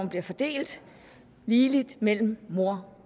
bliver fordelt ligeligt mellem mor